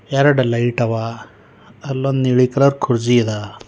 ಎರಡು ಲೈಟ್ ಅವ ಅಲ್ಲೊಂದ್ ನೀಲಿ ಕಲರ್ ಕುರ್ಚಿ ಅವ.